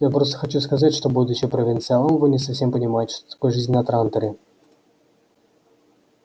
я просто хочу сказать что будучи провинциалом вы не совсем понимаете что такое жизнь на транторе